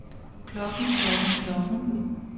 klokken klokken klokken